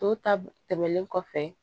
To tab tɛmɛnlen kɔfɛ